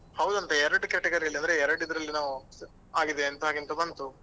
ಹೌದಂತೆ ಎರಡು category ಅಲ್ಲಿ ಅಂದ್ರೆ ಎರಡು ಇದ್ರಲ್ಲಿ ಏನೋ ಆಗಿದೆ ಅಂತ ಹಾಗೆ ಅಂತ ಬಂತು.